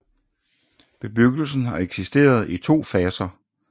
Bebyggelsen har eksisteret i to faser